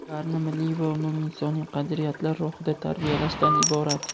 ularni milliy va umuminisoniy qadriyatlar ruhida tarbiyalashdan iborat.